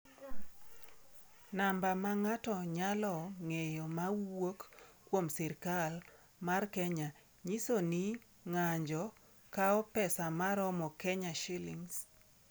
Namba ma ng’ato nyalo ng’eyo ma wuok kuom Sirkal mar Kenya nyiso ni ng’anjo kawo pesa ma romo Kshs.